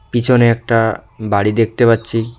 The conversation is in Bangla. পিছনে একটা বাড়ি দেখতে পাচ্ছি।